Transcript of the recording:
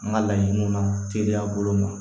An ka laɲiniw na teliya bolo ma